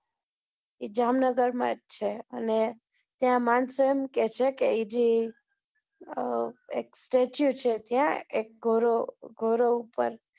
જામ નગર જ છે અને ત્યાં માણસો એમ કે છે કે એ જે ત્યાં એક statue છે ત્યાં એક ગોરો ગોરો ઉપ્પર